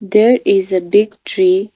There is a big tree.